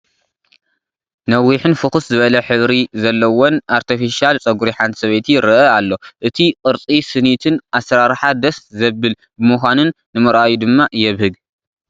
ነዊሕን ፍኹስ ዝበለ ሕብሪ ዘለዎን ኣርቴፊሻል ጸጉሪ ሓንቲ ሰበይቲ ይረአ ኣሎ። እቲ ቅርጺ ስኒትን ኣሰራርሓ ደስ ዘብል ብምዃኑን ንምርኣዩ ድማ የብህግ።